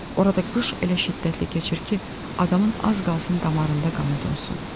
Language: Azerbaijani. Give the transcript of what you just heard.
Orada qış elə şiddətli keçir ki, adamın az qalsın damarında qanı donsun.